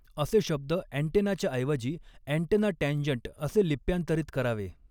असे शब्द ॲन्टेनाच्या ऐवजी ॲन्टेना टॅन्जंट असे लिप्यांतरित करावे.